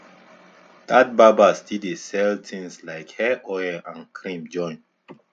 that barber still dey sell things like hair oil and cream join